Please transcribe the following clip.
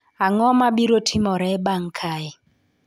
Ang’o ma biro timore bang’ kae?